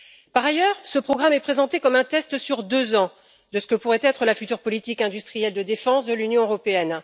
Par ailleurs, ce programme est présenté comme un test, sur deux ans, de ce que pourrait être la future politique industrielle de défense de l'Union européenne.